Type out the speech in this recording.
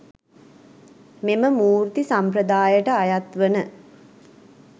මෙම මූර්ති සම්ප්‍රදායට අයත් වන